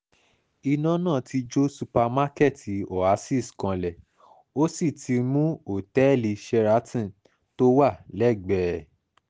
iná náà ti jó ṣùpàkẹ́ẹ̀tì oasis kanlẹ̀ ó sì ti mú òtẹ́ẹ̀lì sheraton tó wà lẹ́gbẹ̀ẹ́ ẹ̀